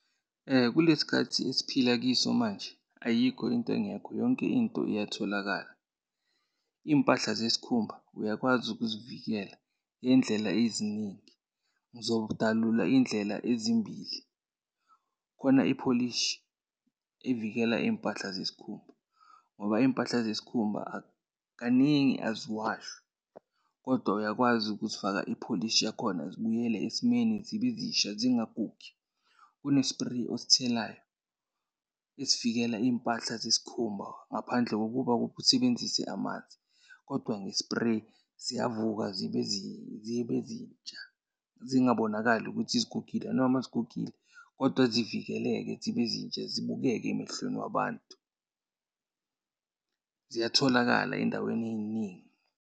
Kule sikhathi esiphila kiso manje, ayikho into engekho, yonke into iyatholakala. Iy'mpahla zesikhumba, uyakwazi ukuzivikela ngey'ndlela eziningi. Ngizodalula iy'ndlela ezimbili. Kukhona ipholishi evikela iy'mpahla zesikhumba ngoba iy'mpahla zesikhumba kaningi aziwashwa. Kodwa uyakwazi ukuzifaka ipholisi yakhona zibuyele esimeni, zibe zisha zingagugi. Kune-spray osithelayo esivikela iy'mpahla zesikhumba ngaphandle kokuba usebenzise amanzi. Kodwa nge-spray, ziyavuka, zibe zibe zintsha zingabonakali ukuthi zigugile noma zigugile, kodwa zivikeleke zibe zintsha zibukeke emehlweni wabantu. Ziyatholakala ey'ndaweni ey'ningi.